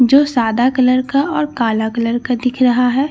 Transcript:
जो सादा कलर का और काला कलर का दिख रहा है।